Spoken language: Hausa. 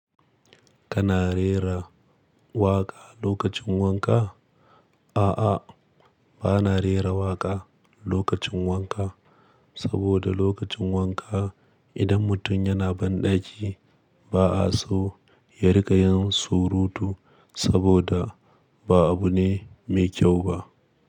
Kana rera waƙa lokacin wanka? A'a, bana rera waƙa lokacin wanka, saboda lokacin wanka idan mutum yana banɗaki ba a so ya riƙa yin surutu saboda ba abu ne mai kyau ba.